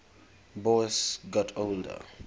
boas got older